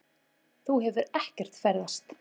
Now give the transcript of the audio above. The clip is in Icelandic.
Þú hefur ekkert ferðast.